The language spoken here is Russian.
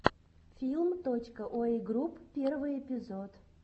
филм точка йуэй групп первый эпизод